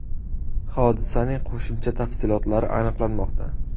Hodisaning qo‘shimcha tafsilotlari aniqlanmoqda.